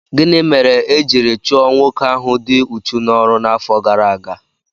Gịnị mere e jiri chụọ nwoke ahụ dị úchú n'ọrụ n'afọ gara aga?